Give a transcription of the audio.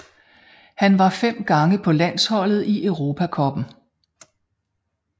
Han var fem gange på landsholdet i Europa cupen